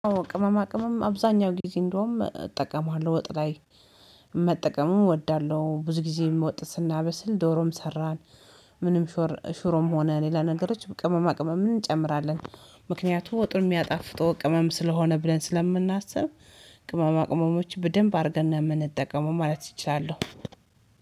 ቅመማ ቅመም አብዛኛው ጊዜ እንደውም እጠቀማለሁ ወጥ ላይ መጠቀምም እወዳለሁ ብዙ ጊዜ ወጥ ስናበስል ዶሮም ሰራን። ምንም ሽሮም ሆነ ሌላ ነገሮች ቅመማ ቅመም እንጨምራለን። ምክንያቱም ወጡን የሚያጣፍጠው ቅመም ስለሆነ ብለን ስለምናስብ። ቅመማ ቅመሞችን በደንብ አድርገን ነው ምንጠቀመው ማለት እችላለሁ።